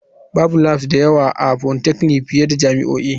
Babu labs da yawa a polytechnic fiye da jami'o'i.